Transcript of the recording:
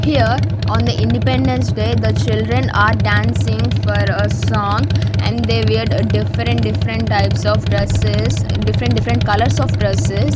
here on the independence day the children are dancing for a song and they weared different different types of dresses different different colours of dresses.